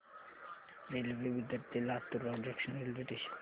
railway Bidar ते Latur road junction railway station